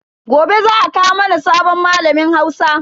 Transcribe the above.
Gobe za a kawo mana sabon malamin Hausa.